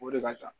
O de ka ca